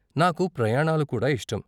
నాకు ప్రయాణాలు కూడా ఇష్టం.